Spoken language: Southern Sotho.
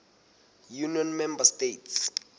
union member states